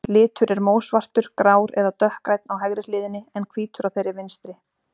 Litur er mósvartur, grár eða dökkgrænn á hægri hliðinni, en hvítur á þeirri vinstri.